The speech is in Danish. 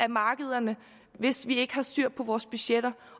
markederne hvis vi ikke har styr på vores budgetter